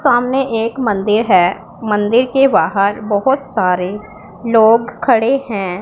सामने एक मंदिर है मंदिर के बाहर बहोत सारे लोग खड़े हैं।